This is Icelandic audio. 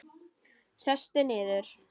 Sestu niður.